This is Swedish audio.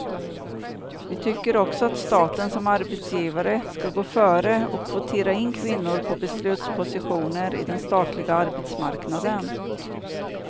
Vi tycker också att staten som arbetsgivare ska gå före och kvotera in kvinnor på beslutspositioner i den statliga arbetsmarknaden.